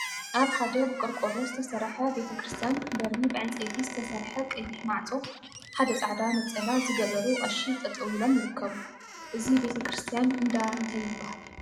አብ ሓደ ብቆርቆሮ ዝተሰርሐ ቤተ ክርስትያን በሪ ብዕንፀይቲ ዝተሰርሐ ቀይሕ ማዕፆ ሓደ ፃዕዳ ነፀላ ዝገበሩ ቀሺ ጠጠወ ኢሎም ይርከቡ፡፡ እዚ ቤተ ክርስትያን እንዳ እንታይ ይበሃል?